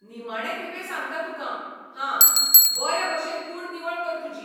निमाणे खेपे सांगता तुकां, हां. बरे भशेन कूड निवळ कर तुजी.